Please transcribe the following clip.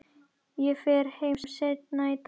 Ég fer heim seinna í dag.